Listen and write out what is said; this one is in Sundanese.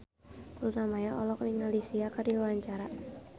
Luna Maya olohok ningali Sia keur diwawancara